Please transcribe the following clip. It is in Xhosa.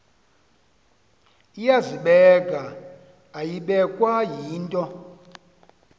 iyazibeka ayibekwa yinto